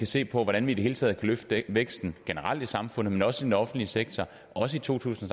se på hvordan vi i det hele taget kan løfte væksten generelt i samfundet men også i den offentlige sektor også i to tusind